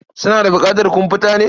Suna da buƙatar komfuta ne?